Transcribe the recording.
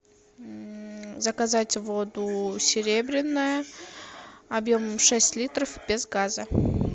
заказать воду серебряная объемом шесть литров без газа